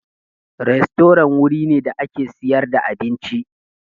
Rastorant wurin ne da ake sayar da abinci.